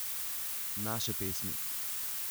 Naše pesmi.